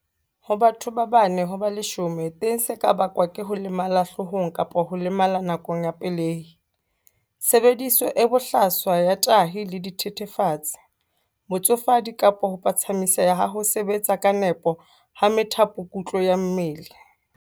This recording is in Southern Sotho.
Ho batho ba bane ho ba leshome teng se ka bakwa ke ho lemala hloohong kapa ho lemala nakong ya pelehi, tshebediso e bohlaswa ya tahi le dithethefatsi, botsofadi kapa ho phatsamiseha ha ho sebetsa ka nepo ha methapokutlo ya mmele.